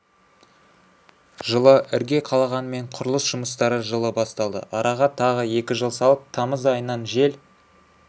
жылы ірге қалағанымен құрылыс жұмыстары жылы басталды араға тағы екі жыл салып тамыз айынан жел